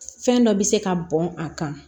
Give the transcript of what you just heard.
Fɛn dɔ bi se ka bɔn a kan